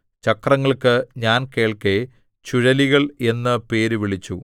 ചക്രങ്ങൾക്ക് ഞാൻ കേൾക്കെ ചുഴലികൾ എന്ന് പേര് വിളിച്ചു